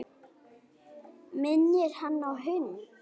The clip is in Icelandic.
Minnir hann á hund.